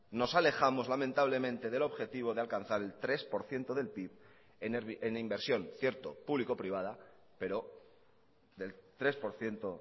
nos alejamos lamentablemente del objetivo de alcanzar el tres por ciento del pib en inversión cierto público privada pero del tres por ciento